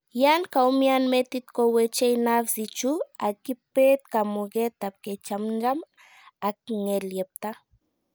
yan kaumian metit ko wechei nerves ichu ag kipet kamuget ab kechamnjam ag ngelyepta